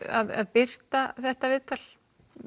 birta þetta viðtal